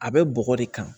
A bɛ bɔgɔ de kan